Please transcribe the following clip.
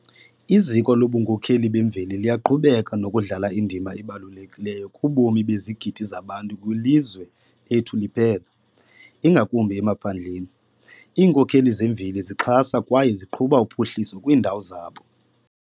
Iziko lobunkokheli bemveli liyaqhubeka nokudlala indima ebalulekileyo kubomi bezigidi zabantu kwilizwe lethu liphela, ingakumbi emaphandleni. Iinkokheli zemveli zixhasa kwaye ziqhuba uphuhliso kwiindawo zabo.